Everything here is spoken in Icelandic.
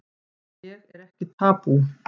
Ég er ekki tabú